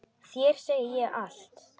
Þér segi ég allt.